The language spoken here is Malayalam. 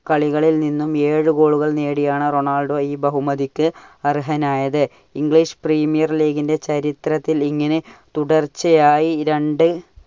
കളികളിൽ നിന്നും ഏഴു goal കൾ നേടിയാണ് റൊണാൾഡോ ഈ ബഹുമതിക്ക് അർഹനായത്. English premiere league ന്റെ ചരിത്രത്തിൽ ഇങ്ങനെ തുടർച്ചയായി രണ്ടു